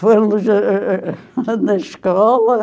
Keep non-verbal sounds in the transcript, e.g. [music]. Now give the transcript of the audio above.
Foram [unintelligible] foram na escola.